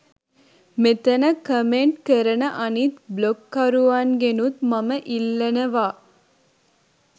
මෙතන කමෙන්ට් කරන අනිත් බ්ලොග්කරුවන්ගෙනුත් මම ඉල්ලනවා